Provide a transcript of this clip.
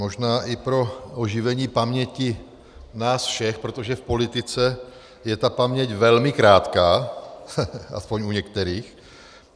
Možná i pro oživení paměti nás všech, protože v politice je ta paměť velmi krátká, aspoň u některých.